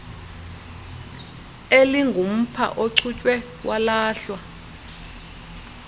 elingumpha ochutywe walahlwa